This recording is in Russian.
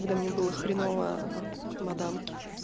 когда мне было хреново от мадам